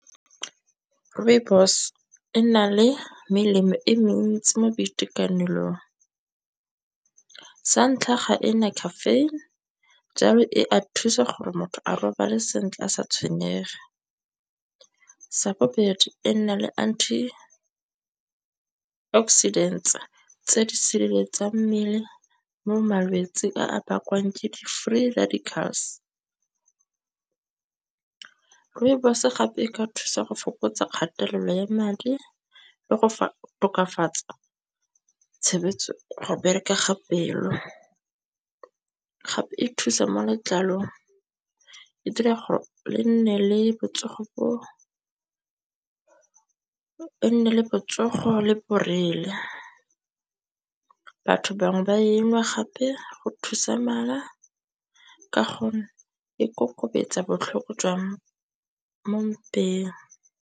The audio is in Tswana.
Rooibos e na le melemo e mentsi mo boitekanelong. Sa ntlha ga ena caffeine jalo e a thusa gore motho a robale sentle a sa tshwenyege. Sa bobedi ena le Antioxidants tse di sireletsang mmele mo malwetsi a a bakwang ke di free radicals. Rooibos gape e ka thusa go fokotsa kgatelelo ya madi le go tokafatsa go berekega pelo. Gape e thusa mo letlalong, e dira gore e nne le botsogo le borele. Batho bangwe ba engwe gape go thusa mala, ka gonne e kokobetsa botlhoko jwa mo mpeng.